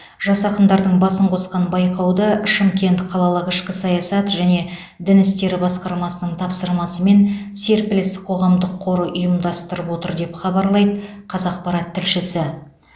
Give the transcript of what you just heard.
жас ақындардың басын қосқан байқауды шымкент қалалық ішкі саясат және дін істері басқармасының тапсырысымен серпіліс қоғамдық қоры ұйымдастырып отыр деп хабарлайды қазақпарат тілшісі